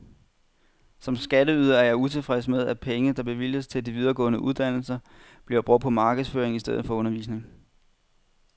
Som skatteyder er jeg utilfreds med, at penge der bevilges til de videregående uddannelser, bliver brugt på markedsføring i stedet for undervisning.